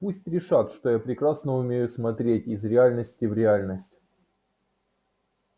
пусть решат что я прекрасно умею смотреть из реальности в реальность